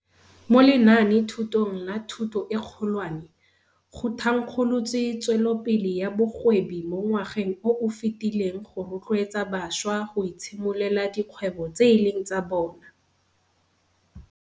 Mo lenaanethutong la Thuto e Kgolwane, go thankgolotswe Tsweletsopele ya Bogwebi mo ngwageng o o fetileng go rotloetsa bašwa go itshimololela dikgwebo tse e leng tsa bona.